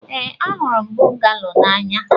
Ee, ahụrụ m bungalo n'anya.